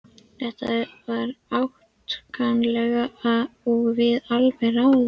Þetta var átakanlegt og við alveg ráðalaus.